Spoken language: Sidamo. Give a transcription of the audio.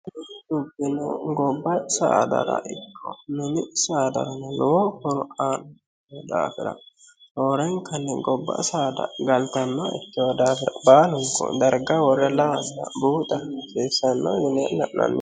dubbu gobba saadara ikko mini saadaranye lowo horu aan daafira roorenkanne gobba saada galtanna ikkiwo daafira baalun darga worre lamain buuxaiseessanno yine la'nanni